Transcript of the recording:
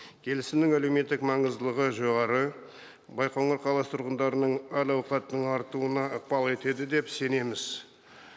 келісімнің әлеуметтік маңыздылығы жоғары байқоңыр қаласы тұрғындарының әл ауқатын артыруына ықпал етеді деп сенеміз